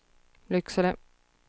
Lycksele